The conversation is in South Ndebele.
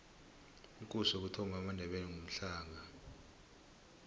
ikosi yokuthoma yamandebele ngumhlanga